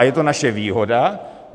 A je to naše výhoda.